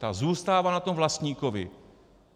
Ta zůstává na tom vlastníkovi.